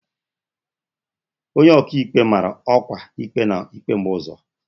onye ọka ikpe mara ọkwa ikpe na ikpe mgbe ụzọ.